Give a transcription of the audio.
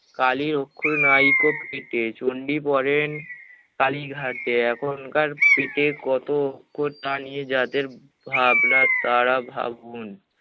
কালি অক্ষর নাই কো কৃতে, চন্ডী পড়েন কালীঘাটে এখনকার পেটে কত কথা নিয়ে যাদের ভাবনা তারা ভাবুন